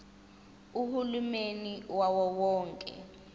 uhulumeni wawo wonke